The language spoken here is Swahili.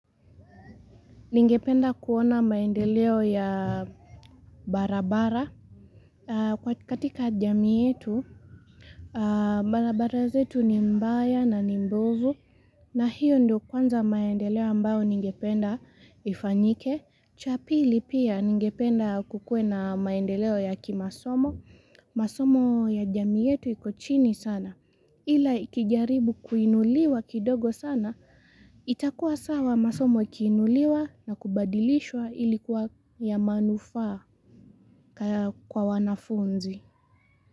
Ningependa kuona maendeleo ya barabara. Katika jamii yetu, barabara zetu ni mbaya na ni mbovu. Na hiyo ndio kwanza maendeleo ambayo ningependa ifanyike. Cha pili pia ningependa kukue na maendeleo ya kimasomo. Masomo ya jamii yetu iko chini sana. Ila ikijaribu kuinuliwa kidogo sana, itakuwa sawa masomo ikiinuliwa na kubadilishwa ili kuwa ya manufaa kwa wanafunzi.